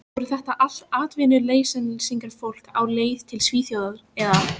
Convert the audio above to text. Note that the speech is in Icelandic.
Voru þetta allt atvinnuleysingjar, fólk á leið til Svíþjóðar eða